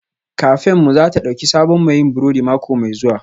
Kafenmu za ta ɗauki sabon mai yin burodi mako mai zuwa